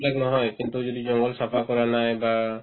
এইবিলাক নহয় কিন্তু যদি জংগল চাফা কৰা নাই বা